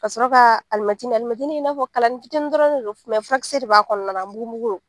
Ka sɔrɔ ka alimɛtinin; alimɛtinin i n'afɔ kalanin fitinin dɔrɔn de don furakisɛ de b'a kɔnɔna na a mugumugulen don.